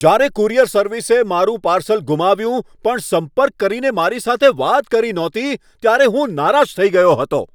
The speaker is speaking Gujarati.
જ્યારે કુરિયર સર્વિસે મારું પાર્સલ ગુમાવ્યું પણ સંપર્ક કરીને મારી સાથે વાત કરી નહોતી, ત્યારે હું નારાજ થઈ ગયો હતો.